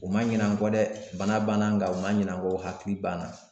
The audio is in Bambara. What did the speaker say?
U ma ɲinɛ an kɔ dɛ bana banna nka u ma ɲinɛ an kɔ u hakili b'an na